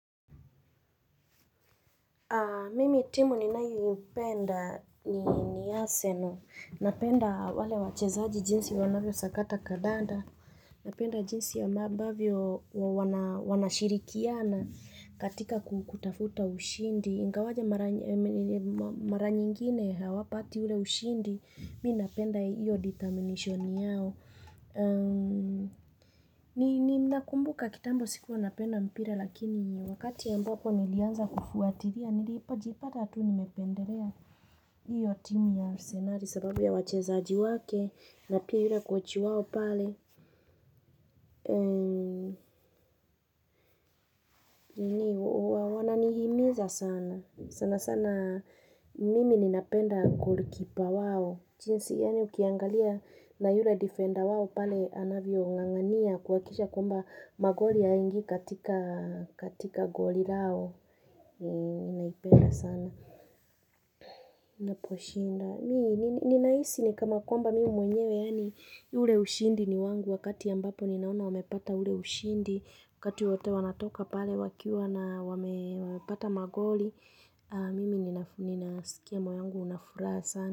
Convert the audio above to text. Mimi timu ni nayo ipenda ni Arsenal. Napenda wale wachezaji jinsi wanavyo sakata kadanda. Napenda jinsi ya amabavyo wanashirikiana katika kutafuta ushindi. Ingawaje mara nyingine hawapati ule ushindi. Mi napenda iyo determination yao. Ni nakumbuka kitambo sikukuwa napenda mpira. Lakini wakati ambapo nilianza kufuatilia ndipo niljipata tu nimependelea hiyo timu ya Arsenali sababu ya wachezaji wake na pia yule Coach wao pale sana sana mimi ninapenda golikipa wao jinsi yani ukiangalia na yura defender wao pale anavyo ngangania kuwakisha kumba magoli hayaingi katika goli lao Ninaipenda sana ina poshinda ni naisi ni kana kwamba mimi mwenyewe yani ule ushindi ni wangu wakati ambapo ninaona wamepata ule ushindi wakati wote wanatoka pale wakiwa na wamepata magoli mimi ninasikia moyo wangu unafuraha sana.